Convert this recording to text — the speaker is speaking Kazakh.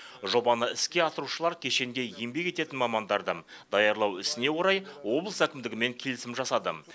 жобаны іске асырушылар кешенде еңбек ететін мамандарды даярлау ісіне орай облыс әкімдігімен келісім жасады